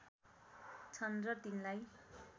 छन् र तिनलाई